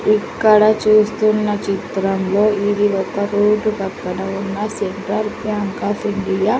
ఇక్కడ చూస్తున్న చిత్రంలో ఇది ఒక రోడ్ పక్కన ఉన్న సెంటర్ బ్యాంక్ ఆఫ్ ఇండియా .